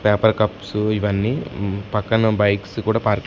paper cups ఇవన్నీ ఉమ్ పక్కన బైక్స్ కూడా పార్కింగ్ --